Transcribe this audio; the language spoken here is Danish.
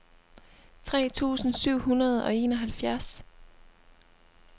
tre tusind syv hundrede og enoghalvfjerds